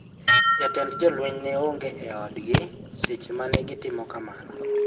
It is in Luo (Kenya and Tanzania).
Jatend jolweny ne onge e odgi seche ma ne gitimo kamano.